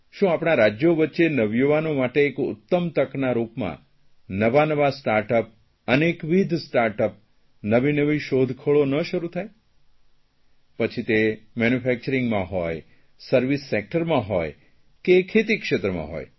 શું આપણાં રાજયો વચ્ચે નવયુવાનો માટે એક ઉત્તમ તકના રૂપમાં નવાનવા સ્ટાર્ટઅપ અનેકવિધ સ્ટાર્ટઅપ નવી નવીનવી શોધખોળો ન શરૂ થાય પછી તે મેન્યુફેકચરીંગમાં હોય સર્વિસ સેકટરમાં હોય કે ખેતીક્ષેત્રમાં હોય